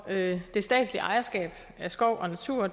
det statslige ejerskab af skov og natur